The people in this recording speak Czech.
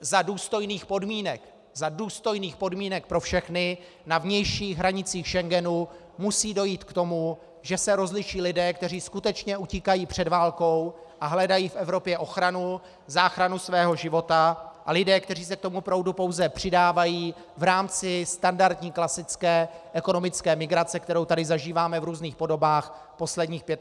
Za důstojných podmínek pro všechny na vnějších hranicích Schengenu musí dojít k tomu, že se rozliší lidé, kteří skutečně utíkají před válkou a hledají v Evropě ochranu, záchranu svého života, a lidé, kteří se k tomu proudu pouze přidávají v rámci standardní klasické ekonomické migrace, kterou tady zažíváme v různých podobách posledních 25 let.